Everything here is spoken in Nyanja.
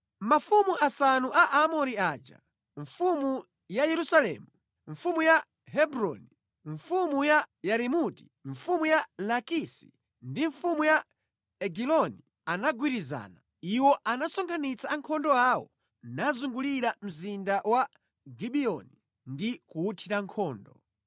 Mafumu asanu a Aamori aja, mfumu ya Yerusalemu, mfumu ya Hebroni, mfumu ya Yarimuti, mfumu ya Lakisi ndi mfumu ya Egiloni, anagwirizana. Iwo anasonkhanitsa ankhondo awo nazungulira mzinda wa Gibiyoni ndi kuwuthira nkhondo.